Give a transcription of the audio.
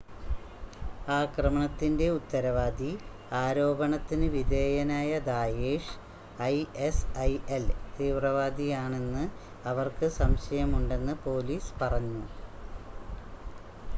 ആക്രമണത്തിന്റെ ഉത്തരവാദി ആരോപണത്തിന് വിധേയനായ ദായേഷ്‌ ഐഎസ്ഐഎൽ തീവ്രവാദിയാണെന്ന് അവർക്ക് സംശയം ഉണ്ടെന്ന് പോലീസ് പറഞ്ഞു